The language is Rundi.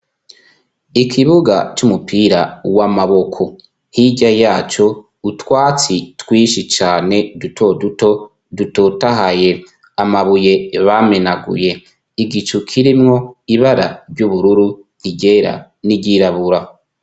Ikibuga c'umupira w'amaboko. Hirya yaco, utwatsi twinshi cane duto duto dutotahaye. Amabuye bamenaguye, igicu kirimwo ibara ry'ubururu, iryera n'iryirabura.